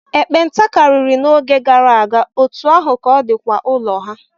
Nkpenta karịri n'oge gara aga, otú ahụ ka ọ dịkwa ụlọ ha.